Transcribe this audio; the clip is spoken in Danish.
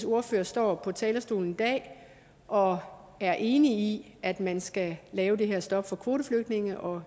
ordfører står på talerstolen i dag og er enig i at man skal lave det her stop for kvoteflygtninge og